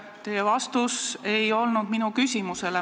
Teie vastus ei olnud vastus minu küsimusele.